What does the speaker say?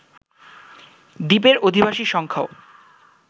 দ্বীপের অধিবাসীর সংখ্যাও